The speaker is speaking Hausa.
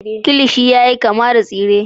kilishi yayi kama da tsire